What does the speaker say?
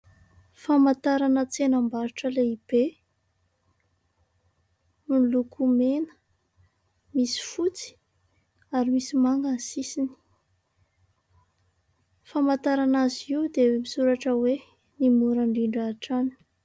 famantarana tsenam-barotra lehibe miloko mena misy fotsy ary misy manga ny sisiny famantarana azy io dia misoratra hoe ny mora indrindra hatrany